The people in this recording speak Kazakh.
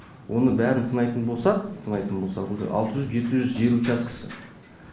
оның бәрін санайтын болсақ санайтын болсақ алты жүз жеті жүз жер учаскесі